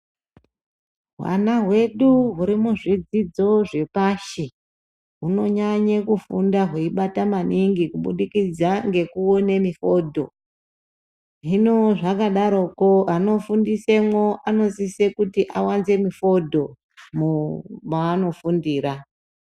Hwana hwedu huri muzvidzidzo zvepashi hunonyanye kufunda hweibata maningi kubudikidza ngekuone mifondo hino zvakadaroko anofundisemwo anosise kuti awanze mifondo mavano fundira.